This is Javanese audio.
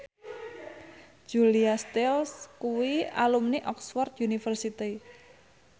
Julia Stiles kuwi alumni Oxford university